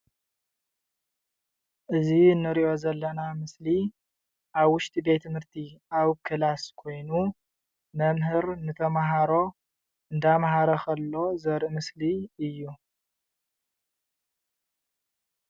እዚ እንሪኦ ዘለና ምስሊ ኣብ ውሽጢ ቤት/ቲ ኣብ ክላስ ኮይኑ መምህር ንተምሃሮ እንዳምሃረ ኸሎ ዘርኢ ምስሊ እዩ፡፡